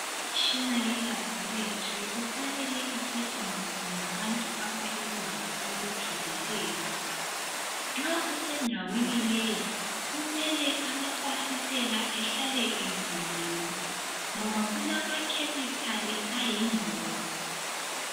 Imitshina yelabhorethi kufanele isetshenziswe ngabantu abalolwazi olujulileyo. Nxa usendaweni leyi kumele amafasitela ehlale evuliwe ngoba kulamakhemikhali ayingoxi.